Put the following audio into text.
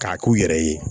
K'a k'u yɛrɛ ye